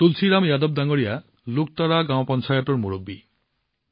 তুলসীৰাম যাদৱ জী লুক্ট্ৰা গাঁও পঞ্চায়তৰ মুৰব্বী